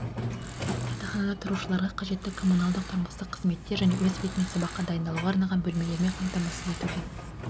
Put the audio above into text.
жатақханада тұрушыларға қажетті коммуналдық-тұрмыстық қызметтер және өз бетімен сабаққа дайындалуға арналған бөлмелермен қамтамасыз етуге